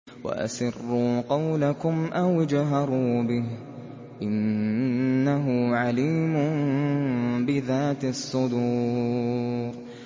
وَأَسِرُّوا قَوْلَكُمْ أَوِ اجْهَرُوا بِهِ ۖ إِنَّهُ عَلِيمٌ بِذَاتِ الصُّدُورِ